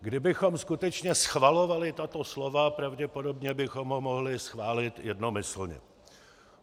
Kdybychom skutečně schvalovali tato slova, pravděpodobně bychom ho mohli schválit jednomyslně.